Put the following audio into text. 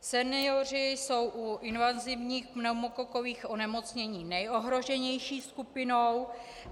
Senioři jsou u invazivních pneumokokových onemocnění nejohroženější skupinou.